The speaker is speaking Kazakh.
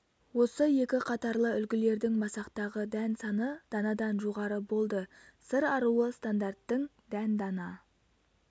осы екі қатарлы үлгілердің масақтағы дән саны данадан жоғары болды сыр аруы стандарттың дән дана